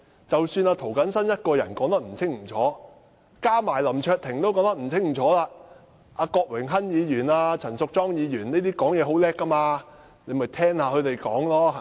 即使涂謹申議員的發言不清楚，加上林卓廷也說不清楚，他可以聽郭榮鏗議員和陳淑莊議員等人發言，他們伶牙俐齒，對嗎？